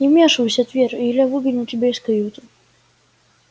не вмешивайся твер или я выгоню тебя из каюты